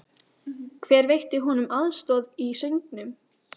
Hver veitti honum aðstoð í söngnum?